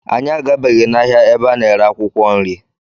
Anyị agabeghị n'ahịa ebe a na-ere akwụkwọ nri.